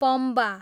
Pamba